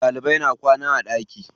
Ɗalibai na kwana a ɗaki.